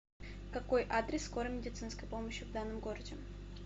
какой адрес скорой медицинской помощи в данном городе